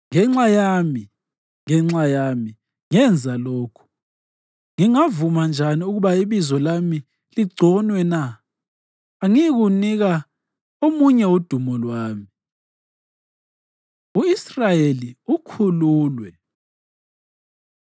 Ngenxa yami, ngenxa yami, ngenza lokhu. Ngingavuma njani ukuba ibizo lami ligconwe na? Angiyikunika omunye udumo lwami.” U-Israyeli Ukhululwe